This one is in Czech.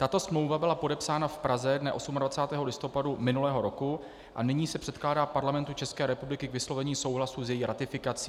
Tato smlouva byla podepsána v Praze dne 28. listopadu minulého roku a nyní se předkládá Parlamentu České republiky k vyslovení souhlasu s její ratifikací.